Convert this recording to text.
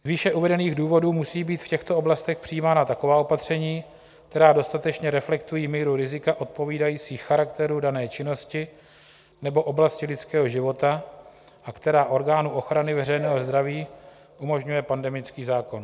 Z výše uvedených důvodů musí být v těchto oblastech přijímána taková opatření, která dostatečně reflektují míru rizika odpovídající charakteru dané činnosti nebo oblasti lidského života a která orgánu ochrany veřejného zdraví umožňuje pandemický zákon.